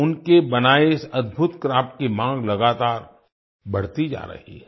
उनके बनाए इस अद्भुत क्राफ्ट की मांग लगातार बढ़ती जा रही है